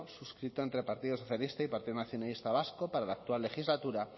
suscrito entre el partido socialista y el partido nacionalista vasco para la actual legislatura